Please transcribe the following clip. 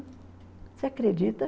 Você acredita?